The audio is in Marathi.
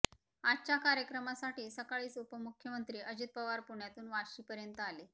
आजच्या कार्यक्रमासाठी सकाळीच उपमुख्यमंत्री अजित पवार पुण्यातून वाशीपर्यंत आले